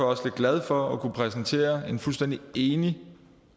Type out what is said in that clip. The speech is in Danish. også lidt glad for at kunne præsentere en fuldstændig enig